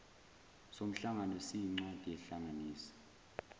somhlangano siyincwadi ehlanganisa